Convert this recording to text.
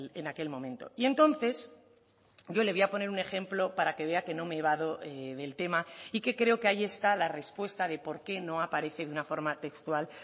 en aquel momento y entonces yo le voy a poner un ejemplo para que vea que no me evado del tema y que creo que ahí está la respuesta de por qué no aparece de una forma textual